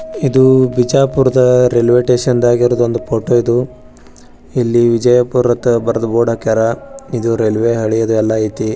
ಇದು ಬಿಜಾಪುರದಾಗ ಇರುವ ರೈಲ್ವೆ ಸ್ಟೇಷನ್ ಫೋಟೋ ಇದು ಇಲ್ಲಿ ವಿಜಯಪುರ್ ಅಂತ ಬರೆದು ಬೋರ್ಡ್ ಹಾಕಾರ. ಇದು ರೈಲ್ವೆ ಹಳಿ ಇದು ಎಲ್ಲ ಐತೆ.